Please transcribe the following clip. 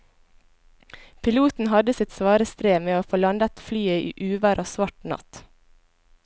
Piloten hadde sitt svare strev med å få landet flyet i uvær og svart natt.